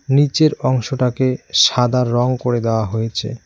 নিচের অংশটাকে সাদা রং করে দেওয়া হয়েছে।